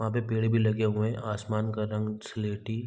वहाँ पे पेड़ भी लगे हुए है आसमान का रंग स्लेटी --